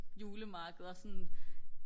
julemarkeder sådan